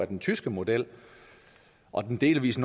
den tyske model og delvis